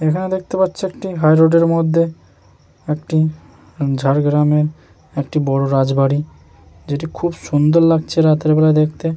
এখানে দেখতে পাচ্ছি একটি হাই রোডের মধ্যে একটি ঝাড়গ্রামের একটি বড় রাজবাড়ী যেটি খুব সুন্দর লাগছে রাতের বেলা দেখতে।